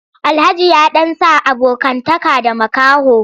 Alhaji ya ɗan sa abokantaka da makaho.